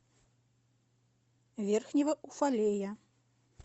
верхнего уфалея